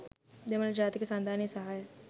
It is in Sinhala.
දෙමළ ජාතික සන්ධානයේ සහාය